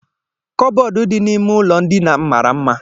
Kọbọd dị n'ime ụlọ ndina m mara mma.